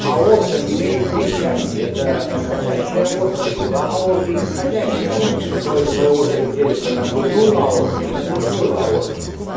аорта имеет три части это восходящая аорта дуга аорты и нисходящая аорта который в свою очередь делится на грудную аорту и на брюшную аорту